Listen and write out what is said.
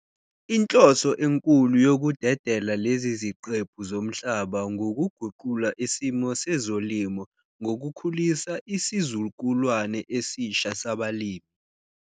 Inhloso enkulu yokudedela lezi ziqephu zomhlaba ngukuguqula isimo sezolimo ngokukhulisa isizukulwane esisha sabalimi.